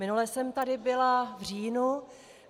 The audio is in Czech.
Minule jsem tady byla v říjnu.